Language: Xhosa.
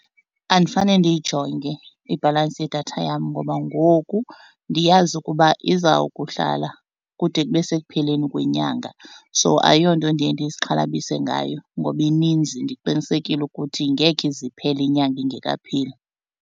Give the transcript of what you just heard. Andifane ndiyijonge ibhalantsi yedatha yam ngoba ngoku ndiyazi ukuba izawukuhlala kude kube sekupheleni kwenyanga. So ayiyonto ndiye ndizixhalabile ngayo ngoba ininzi ndiqinisekile ukuthi ngeke ize iphele inyanga ingekapheli.